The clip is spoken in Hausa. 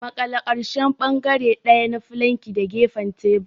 Maƙale ƙarshen bangare ɗaya na fulanki da gefen tebur.